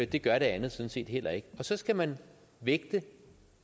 det gør det andet sådan set heller ikke og så skal man vægte